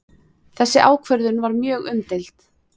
Þessi ákvörðun var mjög umdeild